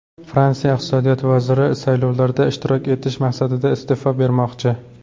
Fransiya iqtisodiyot vaziri saylovlarda ishtirok etish maqsadida iste’fo bermoqchi.